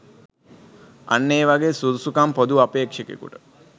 අන්න ඒ වගේ සුදුසුකම් පොදු අපේක්ෂකයකුට